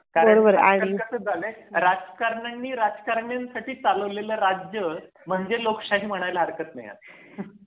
कारण का त्याच कस झालय राजकारण्यांणी राजकारण्यांसाठी चालवलेले राज्य म्हणजे लोकशाही म्हणायला हरकत नाही.